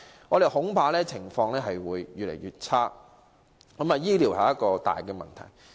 我們恐怕情況會越來越差，醫療是一大問題。